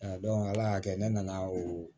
ala y'a kɛ ne nana o